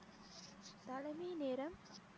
தலைமை நேரம்